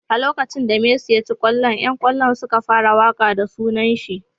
A lokacin da Messi ya ci kwallon yan kallon suka fara waka da sunanshi.